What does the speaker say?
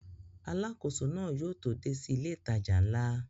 Alákóso náà yóò tó dé sí ilé ìtajà ńlá